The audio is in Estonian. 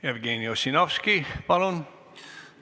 Jevgeni Ossinovski, palun!